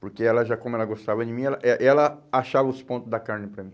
Porque ela, já como ela gostava de mim, ela eh ela achava os ponto da carne para mim.